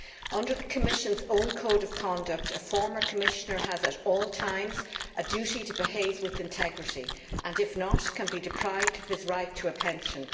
Under the Commission's own code of conduct, a former Commissioner has at all times a duty to behave with integrity and, if not, can be deprived of his right to a pension.